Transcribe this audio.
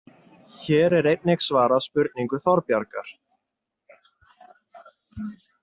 Hér er einnig svarað spurningu Þorbjargar